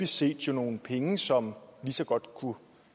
set er nogle penge som lige så godt kunne